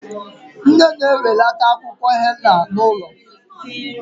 Nne na-enwelata akwụkwọ henna ụlọ